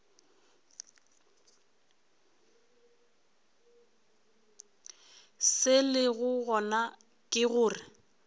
se lego gona ke gore